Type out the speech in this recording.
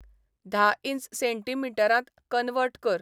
धा इंच सेंटीमिटरांत कन्वर्ट कर